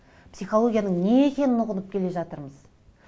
психологияның не екенін ұғынып келе жатырмыз